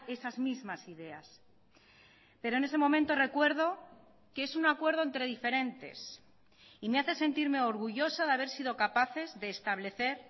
esas mismas ideas pero en ese momento recuerdo que es un acuerdo entre diferentes y me hace sentirme orgullosa de haber sido capaces de establecer